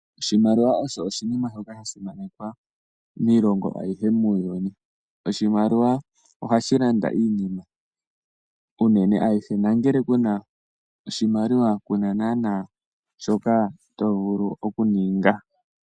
Oshimaliwa osho oshinima shoka sha simanekwa miilongo ayihe yomuuyuni. Oshimaliwa ohashi landa iinima konyala ayihe. Ngele ku na oshimaliwa ku na naana shoka to vulu okuninga.